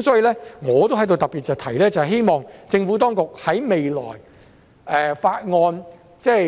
所以，我在此亦特別提出，希望未來政府當局在《條例草案》